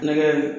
Nɔnɔ